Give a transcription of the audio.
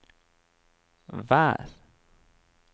vær